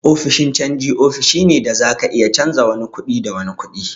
Ofishin canji ofishi ne da da zaka iya canja wani kuɗi da wani kuɗin.